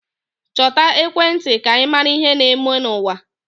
Chọta ekwentị ka ị mara ihe na-eme n'ụwa.